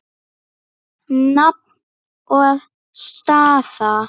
Nafn og staða?